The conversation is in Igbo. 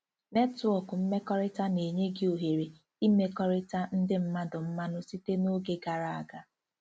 " Netwọk mmekọrịta na-enye gị ohere ị mmekọrịta ndị mmadụ mmanụ site na oge gara aga